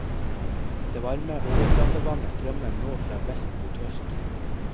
Det varme overflatevannet strømmer nå fra vest mot øst.